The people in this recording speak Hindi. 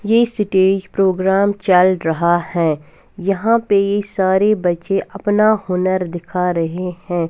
यह सिटी प्रोग्राम चल रहा है यहाँ पर सारे बच्चे अपना हुनर दिखा रहे है।